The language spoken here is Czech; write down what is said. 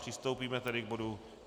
Přistoupíme tedy k bodu